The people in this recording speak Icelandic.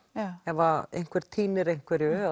ef að einhverjir týnir einhverju